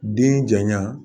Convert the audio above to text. Den janya